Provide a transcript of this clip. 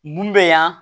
Mun bɛ yan